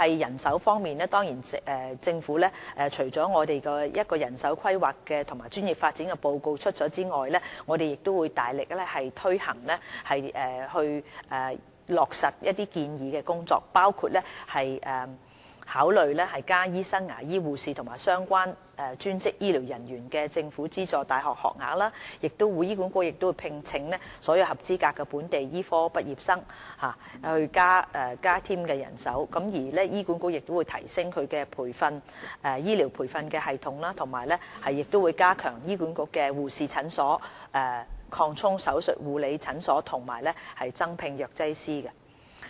人手方面，政府除公布一項關於人手規劃和專業發展的報告外，我們亦會大力推行有關建議，包括考慮增加醫生、牙醫、護士和相關專職醫療人員的政府資助大學學額；醫管局亦會聘請所有合資格的本地醫科畢業生，以增加其人手；醫管局亦會提升其醫療培訓系統，並加強轄下護士診所，擴充手術護理診所和增聘藥劑師。